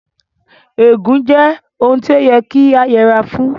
Ègún jẹ́ ohun tí ó yẹ kí a yẹra fún